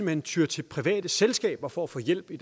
hen tyer til private selskaber for at få hjælp i